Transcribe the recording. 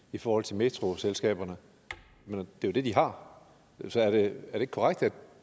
i forhold til metroselskaberne men det er jo det de har så er det ikke korrekt at